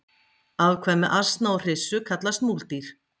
afkvæmi asna og hryssu kallast múldýr